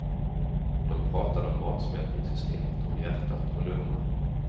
De pratade om matsmältningssystemet, om hjärtat och lungorna.